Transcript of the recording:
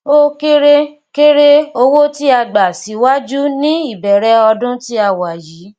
o kere kere owó tí a gbà síwájú ní ìbẹrẹ ọdún tí a wà yìí